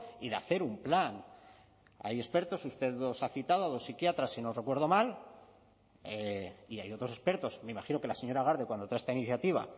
y de hacer un plan hay expertos usted los ha citado a dos psiquiatras si no recuerdo mal y hay otros expertos me imagino que la señora garde cuando trae esta iniciativa